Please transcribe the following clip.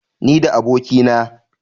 ni da abokina